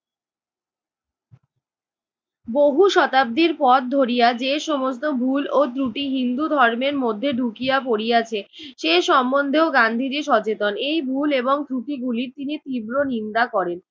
বহু শতাব্দীর পথ ধরিয়া যে সমস্ত ভুল ও ত্রুটি হিন্দু ধর্মের মধ্যে ঢুকিয়া পড়িয়াছে সে সম্বন্ধেও গান্ধীজি সচেতন এই ভুল এবং ত্রুটিগুলির তিনি তীব্র নিন্দা করেন।